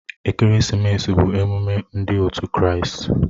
Ekeresimesi bụ emume ndị òtù Kraịst